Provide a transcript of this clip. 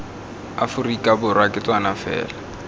aforika borwa ke tsona fela